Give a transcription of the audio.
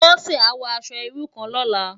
Bose á wò aṣò irú kán lòlá